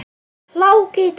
Hláka í dag.